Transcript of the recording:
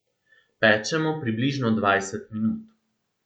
Pečemo približno dvajset minut.